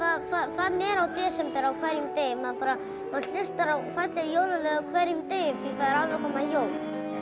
þannig er í desember á hverjum degi maður hlustar á falleg jólalög á hverjum degi því það eru alveg að koma jól